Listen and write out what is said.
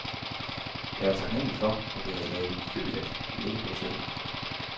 Jeg var taknemmelig for, at jeg havde ladet min flybillet ligge på hotellet.